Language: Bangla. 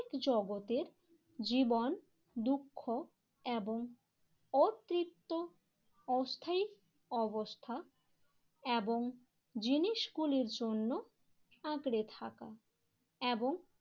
জগতের জীবন দুঃখ এবং অতৃপ্ত অস্থায়ী অবস্থা এবং জিনিসগুলির জন্য আঁকড়ে থাকা এবং